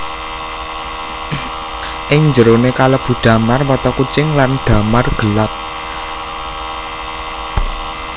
Ing jeroné kalebu damar mata kucing lan damar gelap